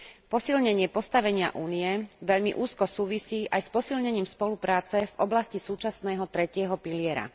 Posilnenie postavenia Únie veľmi úzko súvisí aj s posilnením spolupráce v oblasti súčasného tretieho piliera.